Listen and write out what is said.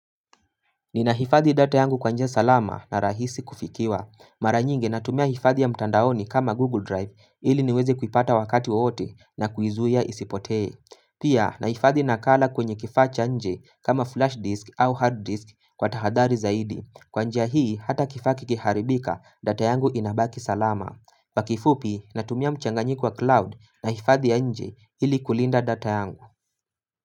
Ninahifadhi data yangu kwa njia salama na rahisi kufikiwa. Mara nyingi natumia hifadhi ya mtandaoni kama Google Drive ili niweze kuipata wakati wowote na kuizuia isipotee. Pia nahifadhi nakala kwenye kifaa cha nje kama flash disk au hard disk kwa tahadhari zaidi. Kwa njia hii hata kifaa kikiharibika data yangu inabaki salama. Pakifupi natumia mchanganyiko wa cloud na hifadhi ya nje ili kulinda data yangu.